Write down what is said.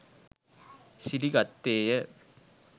සිරි ගත්තේය.